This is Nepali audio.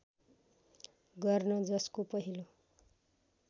गर्न जसको पहिलो